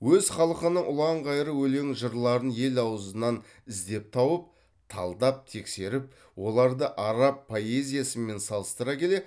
өз халқының ұлан ғайыр өлең жырларын ел аузынан іздеп тауып талдап тексеріп оларды араб поэзиясымен салыстыра келе